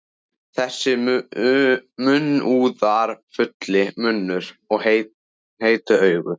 Þessi munúðarfulli munnur og heitu augu.